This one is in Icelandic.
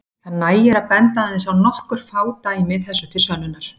Það nægir að benda aðeins á nokkur fá dæmi þessu til sönnunar.